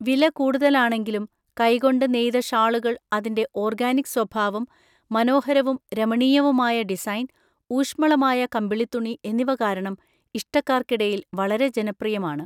വില കൂടുതലാണെങ്കിലും, കൈകൊണ്ട് നെയ്ത ഷാളുകൾ അതിന്റെ ഓർഗാനിക് സ്വഭാവം, മനോഹരവും രമണീയവുമായ ഡിസൈൻ, ഊഷ്മളമായ കമ്പിളിത്തുണി എന്നിവ കാരണം ഇഷ്ടക്കാർക്കിടയിൽ വളരെ ജനപ്രിയമാണ്.